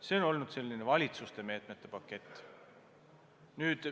See on olnud valitsuste meetmete pakett.